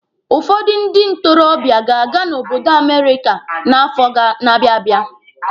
Ụfọdụ ndị ntorobịa ga-aga n'obodo Amerika n'afọ na-abịa abịa.